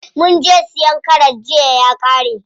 Munje siyan karas jiya ya ƙare.